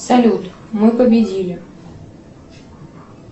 салют мы победили